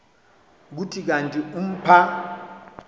kuthi kanti umpha